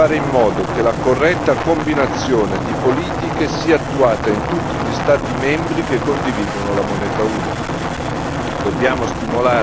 A mio parere, ciò significa fare in modo che la corretta combinazione di politiche sia attuata in tutti gli Stati membri che condividono la moneta unica.